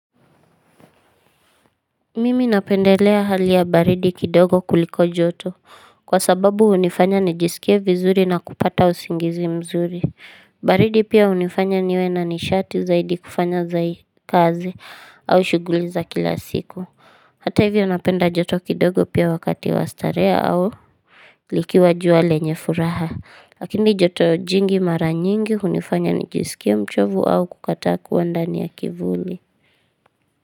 Mimi napendelea hali ya baridi kidogo kuliko joto Kwa sababu hunifanya nijisikie vizuri na kupata usingizi mzuri baridi pia hunifanya niwe na nishati zaidi kufanya kazi au shuguli za kila siku Hata hivyo napenda joto kidogo pia wakati wa starehe au likiwa jua lenye furaha Lakini joto jingi mara nyingi hunifanya nijisikia mchovu au kukataa kuwa ndani ya kivuli.